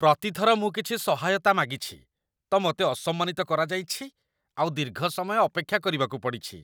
ପ୍ରତି ଥର ମୁଁ କିଛି ସହାୟତା ମାଗିଛି, ତ ମୋତେ ଅସମ୍ମାନିତ କରାଯାଇଛି ଆଉ ଦୀର୍ଘ ସମୟ ଅପେକ୍ଷା କରିବାକୁ ପଡ଼ିଛି।